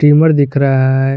Trimmer दिख रहा है।